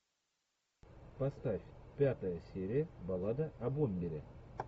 поставь пятая серия баллада о бомбере